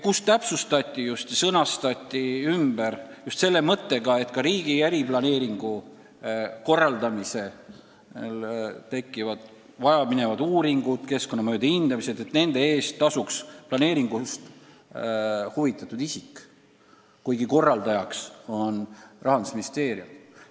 Seadus sõnastati ümber just selle mõttega, et riigi äriplaneeringu korraldamisel vaja minevate uuringute, sh keskkonnamõjude hindamise eest tasuks planeeringust huvitatud isik, kuigi korraldaja on Rahandusministeerium.